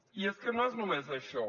i és que no és només això